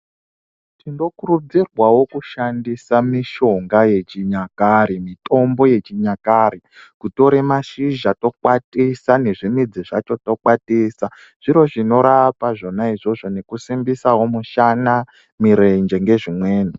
Tin okurudzirwa wo kushandisa mishonga yechinyakare-mitombo yechinyakare. Kutore mashizha tokwatisa nezvimidzi zvacho tokwatisa. Zviro zvinorapa zvona izvozvo nekusimbisa wo mishana, mwirenje ngezvimweni.